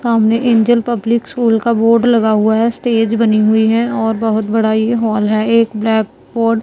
सामने Angel Public School का board लगा हुआ है स्टेज बनी हुई है और बहोत बड़ा ये हॉल है एक ब्लैक बोर्ड --